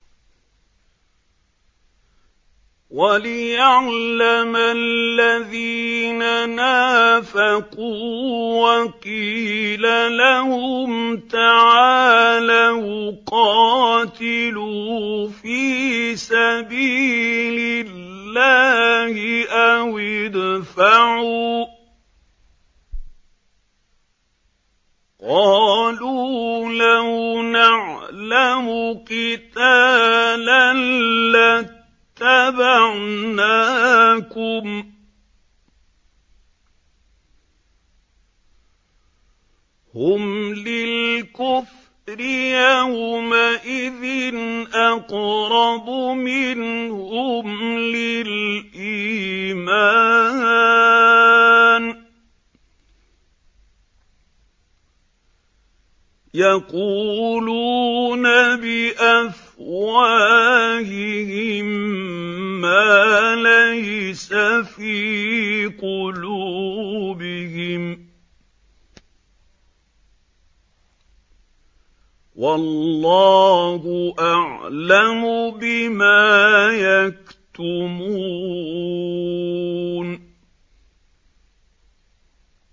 وَلِيَعْلَمَ الَّذِينَ نَافَقُوا ۚ وَقِيلَ لَهُمْ تَعَالَوْا قَاتِلُوا فِي سَبِيلِ اللَّهِ أَوِ ادْفَعُوا ۖ قَالُوا لَوْ نَعْلَمُ قِتَالًا لَّاتَّبَعْنَاكُمْ ۗ هُمْ لِلْكُفْرِ يَوْمَئِذٍ أَقْرَبُ مِنْهُمْ لِلْإِيمَانِ ۚ يَقُولُونَ بِأَفْوَاهِهِم مَّا لَيْسَ فِي قُلُوبِهِمْ ۗ وَاللَّهُ أَعْلَمُ بِمَا يَكْتُمُونَ